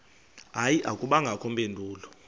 hayi akubangakho mpendulo